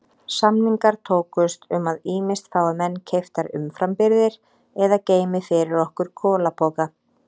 Samningar tókust um að ýmist fái menn keyptar umframbirgðir eða geymi fyrir okkur kolapoka.